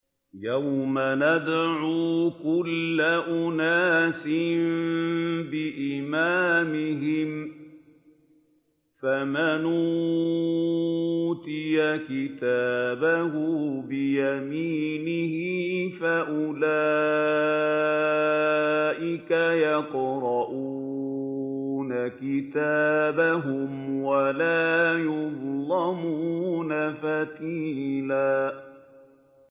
يَوْمَ نَدْعُو كُلَّ أُنَاسٍ بِإِمَامِهِمْ ۖ فَمَنْ أُوتِيَ كِتَابَهُ بِيَمِينِهِ فَأُولَٰئِكَ يَقْرَءُونَ كِتَابَهُمْ وَلَا يُظْلَمُونَ فَتِيلًا